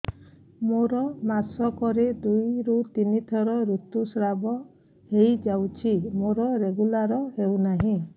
ମୋର ମାସ କ ରେ ଦୁଇ ରୁ ତିନି ଥର ଋତୁଶ୍ରାବ ହେଇଯାଉଛି ମୋର ରେଗୁଲାର ହେଉନାହିଁ